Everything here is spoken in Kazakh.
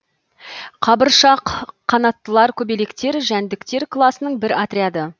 қабыршақ қанаттылар көбелектер жәндіктер класының бір отряды